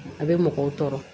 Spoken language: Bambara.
A bɛ mɔgɔw tɔɔrɔ